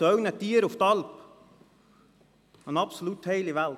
Sie gehen zu Ihren Tieren auf die Alp, eine absolut heile Welt.